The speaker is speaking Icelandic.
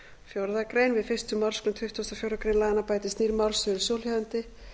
fjórða grein við fyrstu málsgrein tuttugustu og fjórðu grein laganna bætist nýr málsliður svohljóðandi